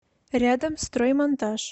рядом строймонтаж